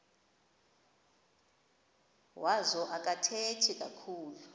wazo akathethi kakhulu